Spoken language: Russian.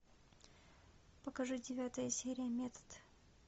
покажи девятая серия метод